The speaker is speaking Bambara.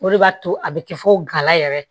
O de b'a to a bɛ kɛ fo gala yɛrɛ